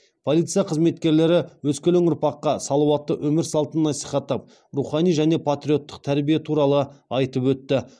полиция қызметкерлері өскелең ұрпаққа салауатты өмір салтын насихаттап рухани және патриоттық тәрбие туралы айтып өтті